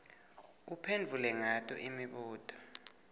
uphendvule ngato imibuto